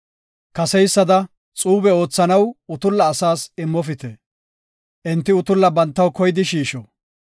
“Kaseysada xuube oothanaw asaas utulla immofite. Enti utulla bantaw koyidi shiisho.